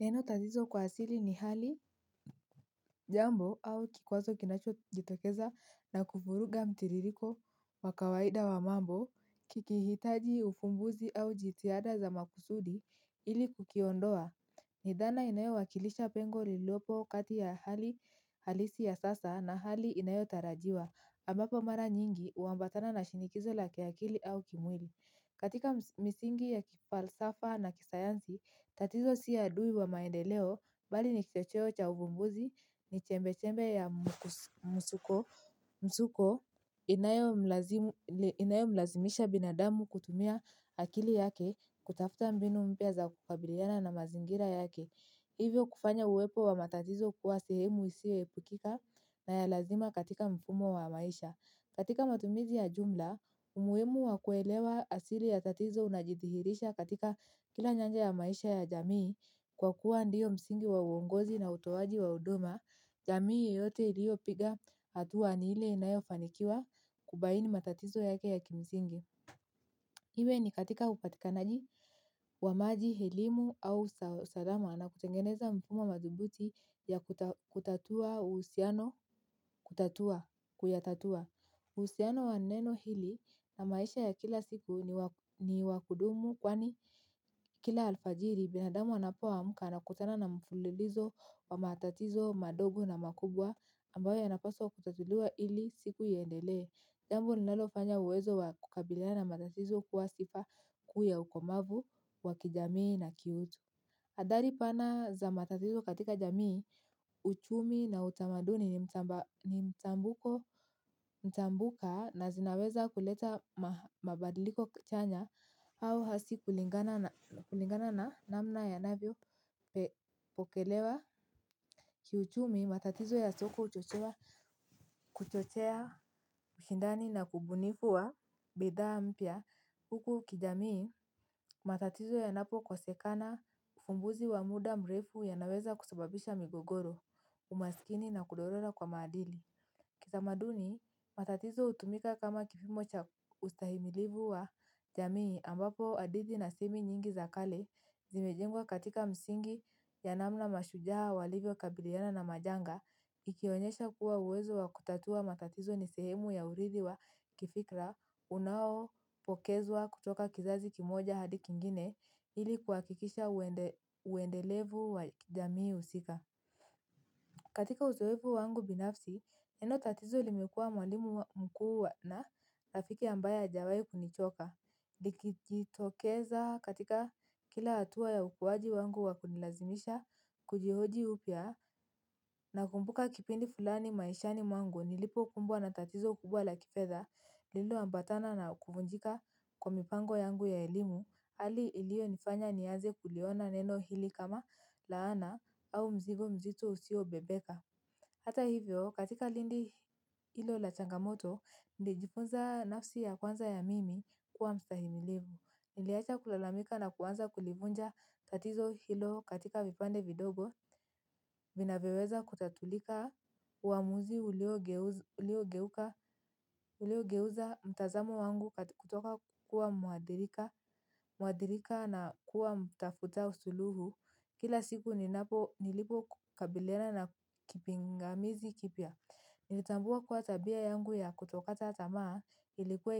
Neno tatizo kwa asili ni hali jambo au kikwazo kinachojitokeza na kuvuruga mtiliriko wa kawaida wa mambo kikihitaji ufumbuzi au jitihada za makusudi ili kukiondoa. Ni dhana inayowakilisha pengo liliopo kati ya hali halisi ya sasa na hali inayotarajiwa ambapo mara nyingi huambatana na shinikizo la kiakili au kimwili. Katika misingi ya kifalsafa na kisayansi, tatizo si adui wa maendeleo, bali ni kichocheo cha uvumbuzi ni chembe-chembe ya msukosuko inayomlazimisha binadamu kutumia akili yake kutafuta mbinu mpya za kukabiliana na mazingira yake. Hivyo kufanya uwepo wa matatizo kuwa sehemu isiyoepukika na ya lazima katika mfumo wa maisha. Katika matumizi ya jumla, umuhimu wa kuelewa asili ya tatizo unajidhiirisha katika kila nyanja ya maisha ya jamii kwa kuwa ndiyo msingi wa uongozi na utoaji wa huduma, jamii yote iliopiga hatua ni ile inayofanikiwa kubaini matatizo yake ya kimsingi. Iwe ni katika upatikanaji wa maji, elimu au salama na kutengeneza mfumo madhubuti ya kutatua uhusiano, kuyatatua. Uhusiano wa neno hili na maisha ya kila siku ni wakudumu kwani kila alfajiri binadamu anapoamka anakutana na mfululizo wa matatizo, madogo na makubwa ambayo yanapaswa kutatuliwa ili siku iendelee. Jambo linalofanya uwezo wa kukabiliana na matatizo kuwa sifa kuu ya ukomavu wa kijamii na kiutu. Hadhari pana za matatizo katika jamii, uchumi na utamaduni ni mtambuko mtambuka na zinaweza kuleta mabadiliko chanya au hasi kulingana na namna ya navyo pe pokelewa. Kiuchumi matatizo ya soko uchochea mshindani na kubunifu wa bidhaa mpya huku kijamii matatizo yanapo kosekana ufumbuzi wa muda mrefu yanaweza kusababisha migogoro umaskini na kudorora kwa maadili. Kisamaduni, matatizo utumika kama kipimocha ustahimilivu wa jamii ambapo adidi na simi nyingi zakale zimejengwa katika msingi ya namna mashujaa walivyo kabiliyana na majanga, ikionyesha kuwa uwezo wa kutatua matatizo nisehemu ya uridi wa kifikla unao pokezwa kutoka kizazi kimoja hadi kingine ili kuakikisha uendelevu wa jamii usika. Katika uzawepu wangu binafsi, neno tatizo limekua mwalimu mkuu na nafiki ambaye ajawai kunichoka. Likitokeza katika kila hatua ya ukuwaji wangu wakunilazimisha, kujihoji upya na kumbuka kipindi fulani maishani wangu nilipo kumbwa na tatizo kubwa la kifedha, lilo ambatana na kufunjika kwa mipango yangu ya elimu, hali ilio nifanya niaze kuliona neno hili kama laana au mzigo mzito usio bebeka. Hata hivyo, katika lindi hilo la changamoto, nilijifunza nafsi ya kwanza ya mimi kuwa mstahimilivu. Niliacha kulalamika na kwanza kulivunja tatizo hilo katika vipande vidogo, vinavyoweza kutatulika uamuzi ulio geuza mtazamo wangu kutoka kuwa muadirika na kuwa mtafuta suluhu. Kila siku ni napo nilipo kabiliana na kipingamizi kipya. Nilitambua kwa tabia yangu ya kutokata tamaa ilikuwa